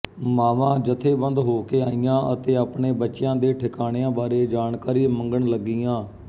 ਮਾਵਾਂ ਜਥੇਬੰਦ ਹੋ ਕੇ ਆਈਆਂ ਅਤੇ ਆਪਣੇ ਬੱਚਿਆਂ ਦੇ ਠਿਕਾਣਿਆਂ ਬਾਰੇ ਜਾਣਕਾਰੀ ਮੰਗਣ ਲੱਗੀਆਂ